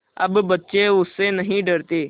अब बच्चे उससे नहीं डरते